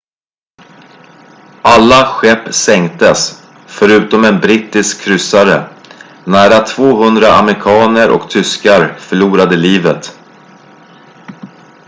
alla skepp sänktes förutom en brittisk kryssare nära 200 amerikaner och tyskar förlorade livet